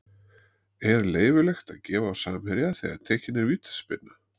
Er leyfilegt að gefa á samherja þegar tekin er vítaspyrna?